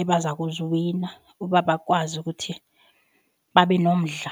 ebaza kuziwina uba bakwazi ukuthi babe nomdla.